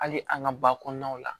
Hali an ka ba kɔnɔnaw la